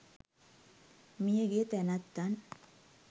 මිය ගිය තැනැත්තන්